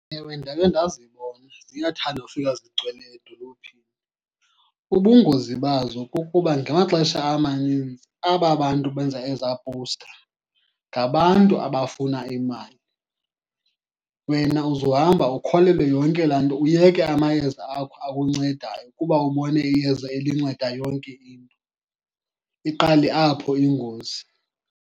Ewe, ndakhe ndazibona. Ziyathanda ufika zigcwele edolophini. Ubungozi bazo kukuba ngamaxesha amaninzi aba bantu benza ezaa powusta ngabantu abafuna imali. Wena uzohamba ukholelwe yonke laa nto, uyeke amayeza akho akuncedayo kuba ubone iyeza elinceda yonke into. Iqale apho ingozi.